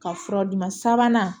Ka fura d'i ma sabanan